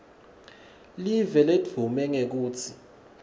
live ledvume ngekutsi